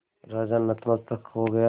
राजा नतमस्तक हो गया